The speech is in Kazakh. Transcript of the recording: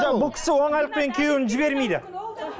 бұл кісі оңайлықпен күйеуін жібермейді